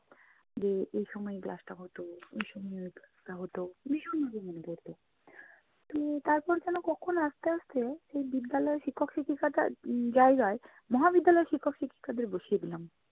যে এই সময় class টা হতো, ওই সময় ওই class টা হতো, ভীষণ ভীষণ মনে পড়তো। তো তারপরে যেনো কখন আস্তে আস্তে এই বিদ্যালয়ের শিক্ষক শিক্ষিকাদের উম জায়গায় মহাবিদ্যালয়ের শিক্ষক শিক্ষিকাদের বসিয়ে দিলাম।